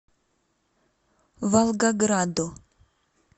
волгограду